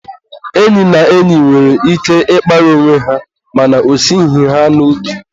enyi na enyi nwere ike ịkparị onwe ha mana o esighi ha n'obi.